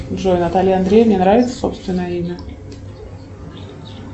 джой наталье андреевне нравится собственное имя